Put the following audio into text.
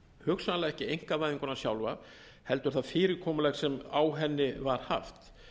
hugsanlega ekki einkavæðinguna sjálfa heldur það fyrirkomulag sem á henni var haft